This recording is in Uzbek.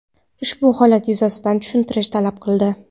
Ushbu holat yuzasidan tushuntirish talab qildi.